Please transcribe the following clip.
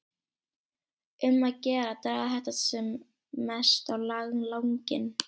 Um að gera að draga þetta sem mest á langinn.